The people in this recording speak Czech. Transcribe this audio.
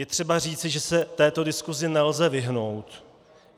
Je třeba říci, že se této diskusi nelze vyhnout.